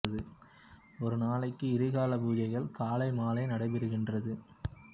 ஒரு நாளைக்கு இரு காலா பூஜைகள் காலை மாலை நடைபெறுகின்றது